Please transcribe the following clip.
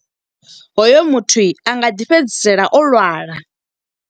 Hoyo muthu a nga ḓi fhedzisela o lwala.